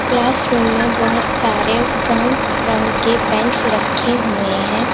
Classroom में बहुत सारे ब्राउन रंग के बैंच रखे हुए हैं।